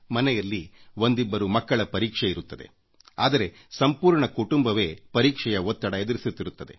ಮನೆಯಲ್ಲಿ ಒಂದಿಬ್ಬರು ಮಕ್ಕಳ ಪರೀಕ್ಷೆ ಇರುತ್ತದೆ ಆದರೆ ಸಂಪೂರ್ಣ ಕುಟುಂಬವೇ ಪರೀಕ್ಷೆಯ ಒತ್ತಡ ಎದುರಿಸುತ್ತಿರುತ್ತದೆ